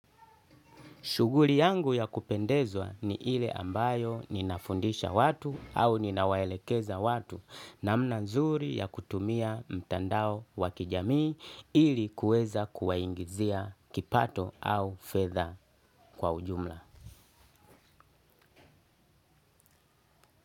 Shuguli yangu ya kupendezwa ni ile ambayo ninafundisha watu au ninawaelekeza watu namna nzuri ya kutumia mtandao wakijamii ili kuweza kuwaingizia kipato au fedha kwa ujumla.